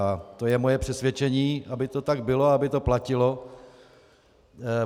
A to je moje přesvědčení, aby to tak bylo, aby to platilo.